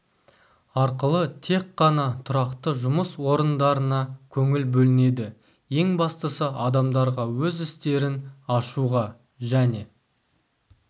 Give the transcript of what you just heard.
арқылы тек қана тұрақты жұмыс орындарына көңіл бөлінеді ең бастысы адамдарға өз істерін ашуға және